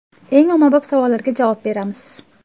Eng ommabop savollarga javob beramiz.